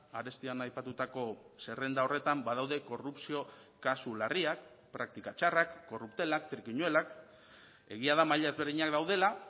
arestian aipatutako zerrenda horretan badaude korrupzio kasu larriak praktika txarrak korruptelak trikinuelak egia da maila ezberdinak daudela